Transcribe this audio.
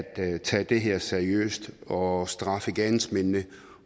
tage det her seriøst og straffe gerningsmændene